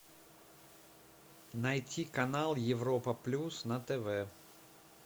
найти канал европа плюс на тв